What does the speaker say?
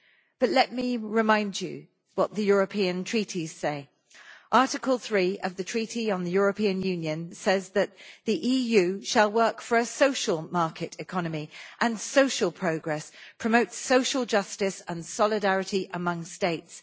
But let me remind you what the European treaties say Article 3 of the Treaty on the European Union says that the EU shall work for a social market economy and social progress, and promote social justice and solidarity among States.